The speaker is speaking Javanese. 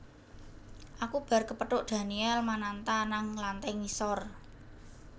Aku bar kepethuk Daniel Mananta nang lantai ngisor